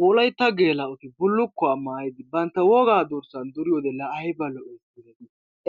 Wolaytta gelaa"oti bullukuwaa maayidi bantta woga durssa duriyoode la aybba lo"i!